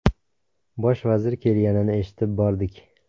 Bosh vazir kelganini eshitib bordik.